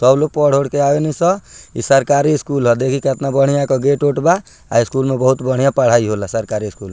त उ लोग पढ़ उढ़ के आवेलिसन इ सरकारी स्कूल हअ देखि केतना बढ़िया एकर गेट उट बा स्कूल में बहुत बढ़िया पढाई होला सरकारी स्कूल में।